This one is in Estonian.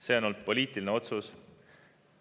See on olnud poliitiline otsus.